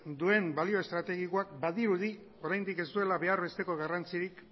duen balio estrategikoak badirudi oraindik ez duela behar besteko garrantzirik